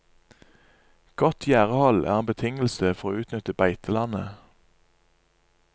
Godt gjerdehold er en betingelse for å utnytte beitelandet.